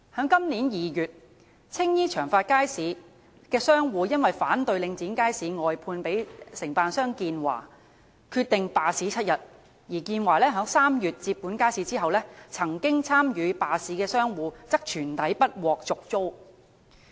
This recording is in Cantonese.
今年2月，青衣長發街市的商戶因反對領展將街市外判予承辦商建華，決定罷市7天，而在建華於3月接管街市後，曾經參與罷市的商戶則全體不獲續租。